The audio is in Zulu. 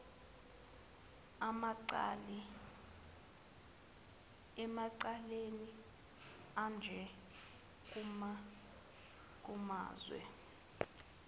emacaleni anje kumazwe